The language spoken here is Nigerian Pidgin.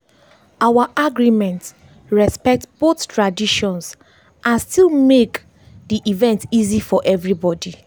our agreement respect both traditions and still make dey event easy for everybody.